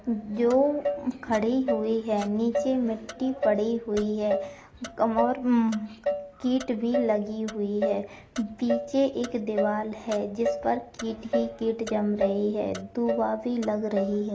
जो खड़ी हुई है नीचे मिट्टी पड़ी हुई है और कीट भी लगी हुई है पीछे एक दीवाल है जिस पर इसमें कीट ही कीट जम रही है दुवा भी लग रही है।